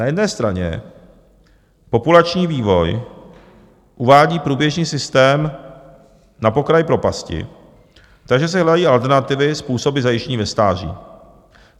Na jedné straně populační vývoj uvádí průběžný systém na pokraj propasti, takže se hledají alternativy, způsoby zajištění ve stáří.